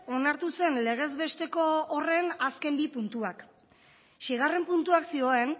onartu zen legezbesteko horren azken bi puntuak seigarren puntuak zioen